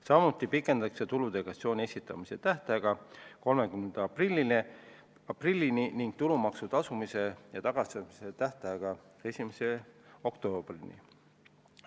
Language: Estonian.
Samuti pikendatakse tuludeklaratsiooni esitamise tähtaega 30. aprillini ning tulumaksu tasumise ja tagastamise tähtaega 1. oktoobrini.